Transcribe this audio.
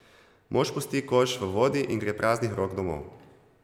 Mož pusti koš v vodi in gre praznih rok domov.